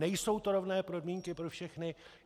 Nejsou to rovné podmínky pro všechny.